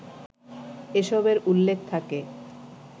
এসবের উল্লেখ থাকে